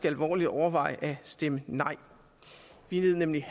alvorligt overveje at stemme nej vi ved nemlig